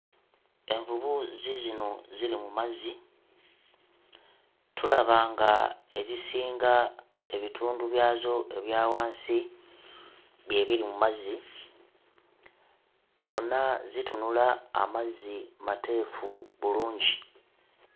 Envubu ziizino ziri mu mazzi, tulaba nga ezisinga ebitundu byazo ebya wansi bye biri mu mazzi. Zonna zitunula amazzi mateefu bulungi.